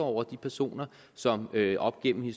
over de personer som op gennem